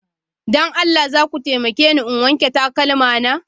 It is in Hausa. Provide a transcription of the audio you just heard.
Don Allah za ku taimake ni in wanke takalma na?